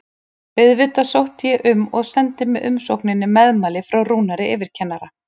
Auðvitað sótti ég um og sendi með umsókninni meðmæli frá Rúnari yfirkennara.